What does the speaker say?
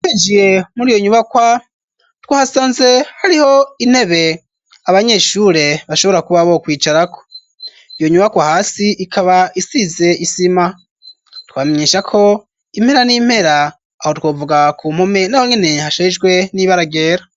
Twinjiye muri iyo nyubakwa twahasanze hariho intebe abanyeshure bashobora kuba bo kwicara ko iyo nyubakwa hasi ikaba isize isima twamenyesha ko impera n'impera aho twovuga ku mpume naho nwene hashejwe n'ibara ryera.